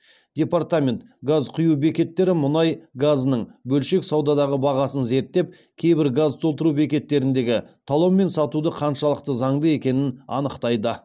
департамент газ құю бекеттері мұнай газының бөлшек саудадағы бағасын зерттеп кейбір газ толтыру бекеттеріндегі талонмен сатуды қаншалықты заңды екенін анықтайды